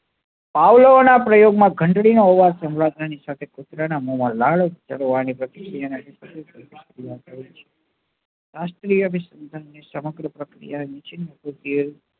Pavlov નાં પ્રયોગ માં ઘંટડી નો અવાજ સંભાળતા ની સાથે પુત્ર નાં મોમાં ઉપચારવા ની પ્રતિક્રિયા